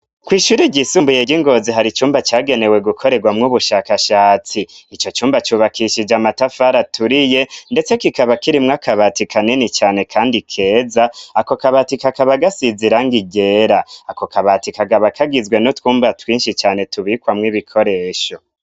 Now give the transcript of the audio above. Kw'ishuri ryisumbu ye ry'ingozi hari icumba cagenewe gukorerwa mw'ubushakashatsi icyo cumba cyubakishije amatafara turiye ndetse kikaba kirimwa kabati kanini cane kandi keza ako kabati kakaba gasizira ng igera ako kabati kagaba kagizwe no twumba twinshi cyane tubikwa mw'ibikoresho.